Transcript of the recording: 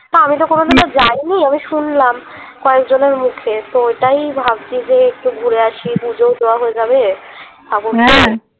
তা আমিতো কোনোদিন যাইনি আমি শুনলাম কয়েকজনের মুখে তো ওটাই ভাবছি যে একটু ঘুরে আসি পুজোও দেওয়া হয়ে যাবে